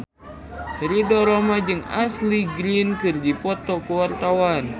Ridho Roma jeung Ashley Greene keur dipoto ku wartawan